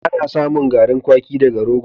Ana samun garin kwaki daga rogo.